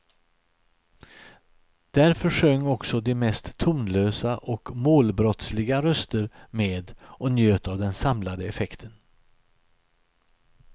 Därför sjöng också de mest tonlösa och målbrottsliga röster med och njöt av den samlade effekten.